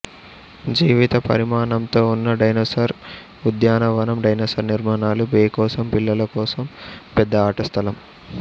జీవిత పరిమాణంతో ఉన్న డైనోసార్ ఉద్యానవనం డైనోసార్ నిర్మాణాలు బే కోసం పిల్లల కోసం పెద్ద ఆట స్థలం